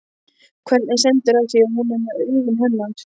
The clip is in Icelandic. Hvernig stendur á því að hún er með augun hennar?